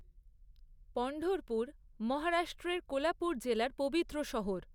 পণ্ঢরপুর মহারাষ্ট্রের কোলাপুর জেলার পবিত্র শহর।